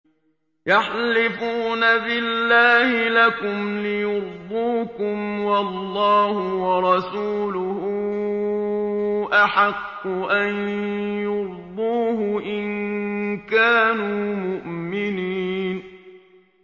يَحْلِفُونَ بِاللَّهِ لَكُمْ لِيُرْضُوكُمْ وَاللَّهُ وَرَسُولُهُ أَحَقُّ أَن يُرْضُوهُ إِن كَانُوا مُؤْمِنِينَ